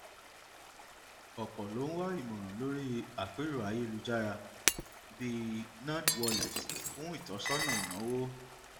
ọpọ ló ń wá ìmòràn lórí àpérò ayélujára bíi nerdwallets fún ìtósọnà ináwó